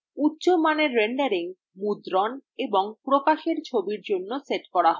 উচ্চ মানের renderingমুদ্রণ এবং প্রকাশের ছবির জন্য set করা হয়